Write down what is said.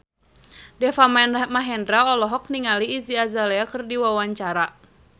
Deva Mahendra olohok ningali Iggy Azalea keur diwawancara